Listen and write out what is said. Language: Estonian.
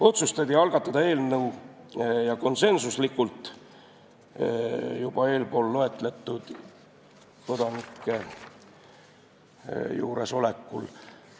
Eelnõu algatamise otsus tehti konsensuslikult eespool loetletud kodanike juuresolekul.